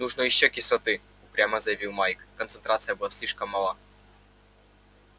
нужно ещё кислоты упрямо заявил майк концентрация была слишком мала